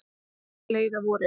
Það leið að vori.